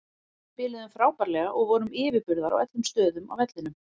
Við spiluðum frábærlega og vorum yfirburðar á öllum stöðum á vellinum.